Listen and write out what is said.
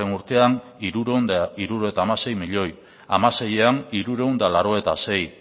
urtean hirurehun eta hirurogeita hamasei milioi bi mila hamaseian hirurehun eta laurogeita sei